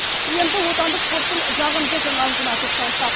енді отандық спорттың жағымды жаңалығына тоқталсақ